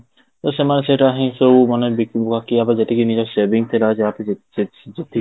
ତ ସେମାନେ ସେଟା ହିଁ ସବୁ ମାନେ ବାକି ଆମର ଯେତିକି ନିଜ saving ଥିଲା, ଯାହା କି ଯେତିକି ଯାହା